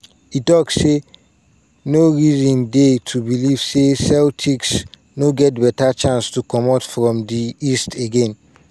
e tok say "no reason dey to believe say celtics no get beta chance to comot from di east again.